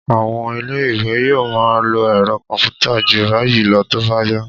À̀wọn ilé-ìwé yóò máa lo ẹ̀rọ kọ̀m̀pútà jù báyìí lọ tó bá yá